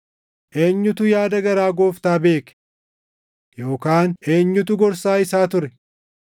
“Eenyutu yaada garaa Gooftaa beeke? Yookaan eenyutu gorsaa isaa ture?” + 11:34 \+xt Isa 40:13\+xt*